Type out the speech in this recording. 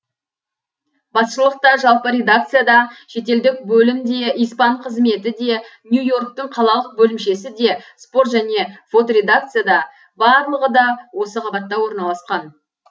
басшылық та жалпы редакция да шетелдік бөлім де испан қызметі де нью и орктың қалалық бөлімшесі де спорт және фоторедакция да барлығы да осы қабатта орналасқан